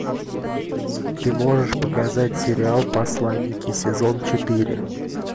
ты можешь показать сериал посланники сезон четыре